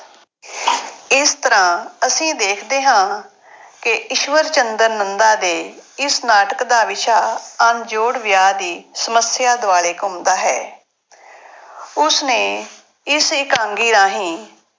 ਇਸ ਤਰ੍ਹਾਂ ਅਸੀਂ ਦੇਖਦੇ ਹਾਂ ਕਿ ਈਸ਼ਵਰ ਚੰਦਰ ਨੰਦਾ ਦੇ ਇਸ ਨਾਟਕ ਦਾ ਵਿਸ਼ਾ ਅਣਜੋੜ ਵਿਆਹ ਦੀ ਸਮੱਸਿਆ ਦੁਆਲੇ ਘੁੰਮਦਾ ਹੈ ਉਸ ਨੇ ਇਸ ਇਕਾਂਗੀ ਰਾਹੀਂ